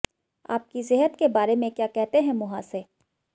आपकी सेहत के बारे में क्या कहते हैं मुंहासे